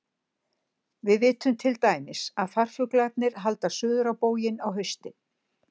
Við vitum til dæmis að farfuglarnir halda suður á bóginn á haustin.